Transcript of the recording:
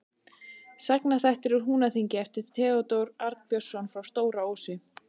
Sagnaþættir úr Húnaþingi eftir Theódór Arnbjörnsson frá Stóra-Ósi